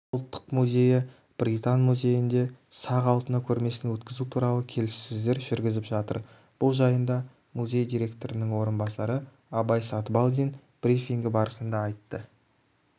ұлттық музейі британ музейінде сақ алтыны көрмесін өткізу туралы келіссөздер жүргізіп жатыр бұл жайында музей директорының орынбасары абай сатыбалдин брифингі барысында айтты